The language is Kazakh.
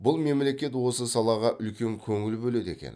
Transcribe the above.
бұл мемлекет осы салаға үлкен көңіл бөледі екен